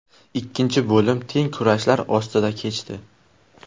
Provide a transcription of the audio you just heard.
Ikkinchi bo‘lim teng kurashlar ostida kechdi.